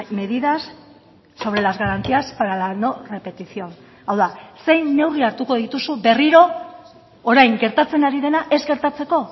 medidas sobre las garantías para la no repetición hau da zein neurri hartuko dituzu berriro orain gertatzen ari dena ez gertatzeko